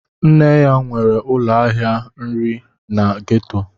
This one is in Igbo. Nne ya nwere ụlọ ahịa nri na gétò